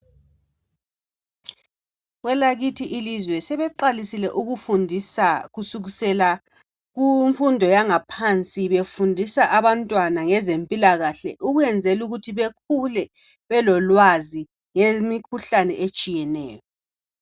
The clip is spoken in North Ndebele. Kwelakithi ilizwe sebeqalisile ukufundisa kusukisela kumfundo yangaphansi befundisa abantwana ngezempilakahle ukwezela ukuthi bekhule belolwazi ngemikhuhlane etshieneyo.